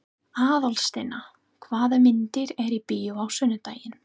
Aðalsteina, hvaða myndir eru í bíó á sunnudaginn?